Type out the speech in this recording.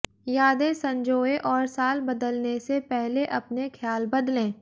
यादें संजोएं और साल बदलने से पहले अपने ख्याल बदलें